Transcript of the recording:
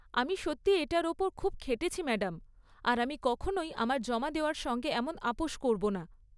আমি সত্যিই এটার ওপর খুব খেটেছি ম্যাডাম, আর আমি কখনোই আমার জমা দেওয়ার সঙ্গে এমন আপস করব না।